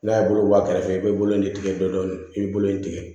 N'a ye bolo bɔ a kɛrɛfɛ i bɛ bolo in tigɛ dɔɔnin dɔɔnin i bɛ bolo in tigɛ